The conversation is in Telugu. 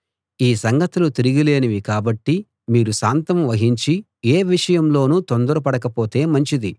ఈ సంగతులు తిరుగులేనివి కాబట్టి మీరు శాంతం వహించి ఏ విషయంలోనూ తొందరపడకపోతే మంచిది